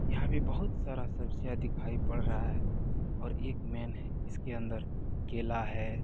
यहां पे बहुत सारा सब्जियां दिखाई पड़ रहा है और एक मेन है इसके अंदर केला है।